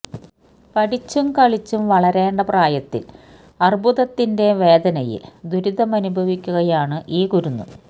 പഠിച്ചും കളിച്ചും വളരേണ്ട പ്രായത്തില് അര്ബുദത്തിന്റെ വേദനയില് ദുരിതമനുഭവിക്കുകയാണ് ഈ കുരുന്ന്